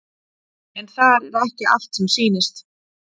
En þar er ekki allt sem sýnist.